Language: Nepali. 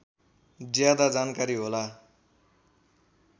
ज्यादा जानकारी होला